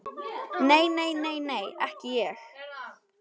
Nei, nei, nei, nei, ekki ég.